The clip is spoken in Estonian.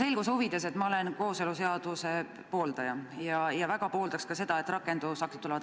Selguse huvides: ma olen kooseluseaduse pooldaja ja väga pooldaks ka seda, et rakendusaktid tuleksid.